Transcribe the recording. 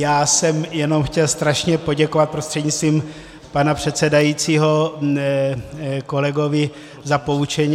Já jsem jenom chtěl strašně poděkovat prostřednictvím pana předsedajícího kolegovi za poučení.